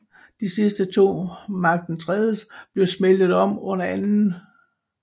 De sidste to Mark IIIs blev smeltet om under 2